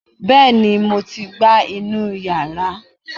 Bẹ́ẹ̀ni mo ti gbá inú yàrá